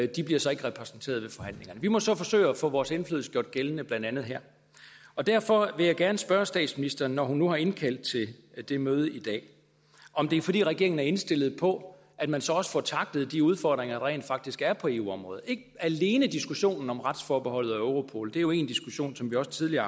de bliver så ikke repræsenteret ved forhandlingerne vi må så forsøge at få vores indflydelse gjort gældende blandt andet her derfor vil jeg gerne spørge statsministeren når hun nu har indkaldt til det møde i dag om det er fordi regeringen er indstillet på at man så også får tacklet de udfordringer der rent faktisk er på eu området ikke alene diskussionen om retsforbeholdet og europol det er jo en diskussion som vi også tidligere